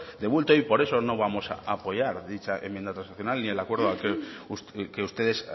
de bulto y por eso no vamos a apoyar dicha enmienda transaccional ni el acuerdo que ustedes